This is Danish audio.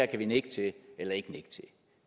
kan de nikke til eller ikke nikke til